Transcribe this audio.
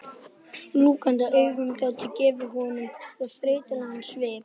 Slútandi augnalokin gátu gefið honum svo þreytulegan svip.